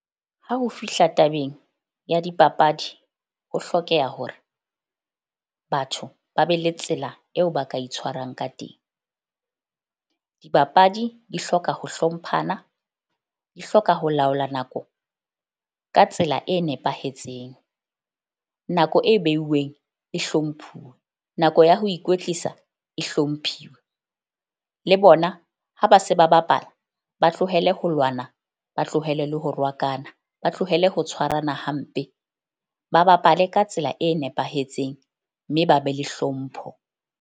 Ha ho fihla tabeng ya dipapadi, ho hlokeha hore batho ba be le tsela eo ba ka itshwarang ka teng. Dibapadi di hloka ho hlomphana, di hloka ho laola nako ka tsela e nepahetseng. Nako e beuweng e hlomphuwe nako ya ho ikwetlisa e hlomphiwe. Le bona ha ba se ba ba bapala, ba tlohele ho lwana, ba tlohele le ho rohakana, ba tlohele ho tshwarana hampe. Ba bapale ka tsela e nepahetseng mme ba be le hlompho.